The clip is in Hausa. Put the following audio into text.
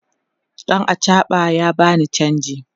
ɗan achaɓan ya bani chanji